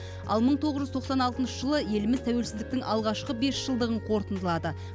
ал мың тоғыз жүз тоқсан алтыншы жылы еліміз тәуелсіздіктің алғашқы бесжылдығын қорытындылады